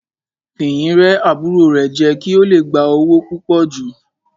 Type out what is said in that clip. Fìyìn rẹ́ àbúrò rẹ̀ jẹ kí ó le gba owó púpò jù.